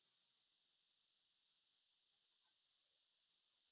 બસ vacation છે ટેન્થની એકઝામોં કમ્પ્લીટ કરી.